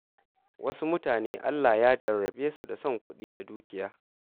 Wasu mutane Allah Ya jarrabe su da son kuɗi da dukiya.